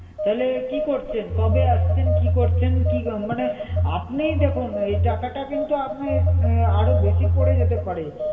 তাহলে কি করছেন? কবে আসছেন? কি করছেন? কি মানে আপনিই দেখুন এই টাকাটা কিন্তু আপনি আরও বেশি পড়ে যেতে পারে।